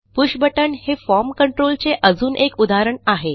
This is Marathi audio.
पुष बटण हे फॉर्म कंट्रोल चे अजून एक उदाहरण आहे